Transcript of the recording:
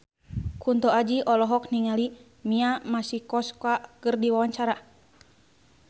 Kunto Aji olohok ningali Mia Masikowska keur diwawancara